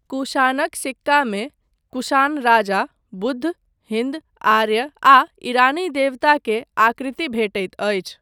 कुषाणक सिक्कामे कुषाण राजा, बुद्ध, हिन्द आर्य आ ईरानी देवता के आकृति भेटैत अछि।